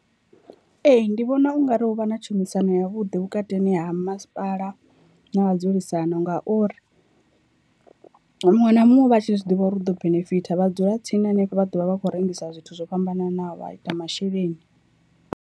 Ee, ndi vhona ungari hu vha na tshumisano ya vhuḓi vhukatini ha masipala na vha dzulisano ngauri muṅwe na muṅwe u vha a tshi zwi ḓivha uri u ḓo benefitha vha dzula tsini hanefho vha ḓovha vha khou rengisa zwithu zwo fhambananaho vha ita masheleni.